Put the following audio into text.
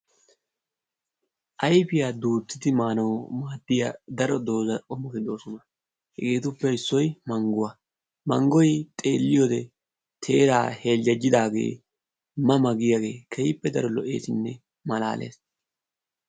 Ayfiya duutti maanawu maaddiya daro doozati de'oosona. hegetuppekka issoy Mangguwaa, manggoy xeeliyoode teerara heljjejidaage ma ma giyaage keehippe daro lo''essinne malalee.